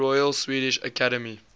royal swedish academy